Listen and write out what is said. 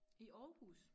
I Aarhus